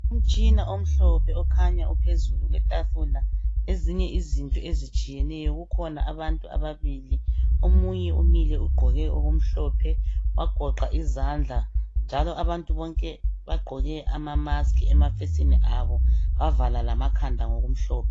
Umtshina omhlophe okhanya uphezulu kwetafula ezinye izinto ezitshiyeneyo. Kukhona abantu ababili omunye umile ugqoke okumhlophe wagoqa izandla njalo abantu bonke bagqoke amamaskhi emafesini abo bavala lamakhanda ngokumhlophe.